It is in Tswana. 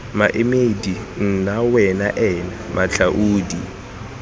maemedi nna wena ena matlhaodi